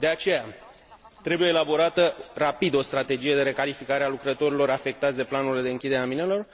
De aceea trebuie elaborată rapid o strategie de recalificare a lucrătorilor afectați de planurile de închidere a minelor.